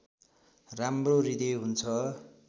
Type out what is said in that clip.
राम्रो हृदय हुन्छ